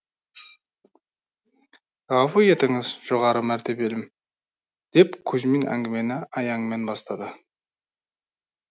ғафу етіңіз жоғары мәртебелім деп кузьмин әңгімені аяңмен бастады